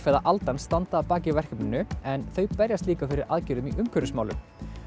eða aldan standa að baki verkefninu en þau berjast líka fyrir aðgerðum í umhverfismálum